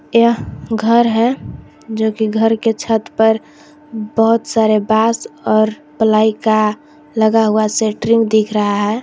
यह घर है जो कि घर के छत पर बहोत सारे बांस और प्लाई का लगा हुआ शटरिंग दिख रहा है।